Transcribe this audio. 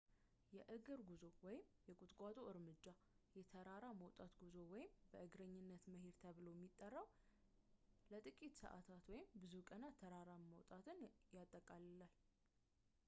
የእግር ጉዞ የቁጥቋጦ እርምጃ”፣ የተራራ መውጣት ጉዞ” ወይም በእግረኝነት” መሄድ ተብሎ ሚጠራው ለጥቂት ሰአታት ወይም ብዙ ቀናት ተራራ መውጣትን ይጠቃልላል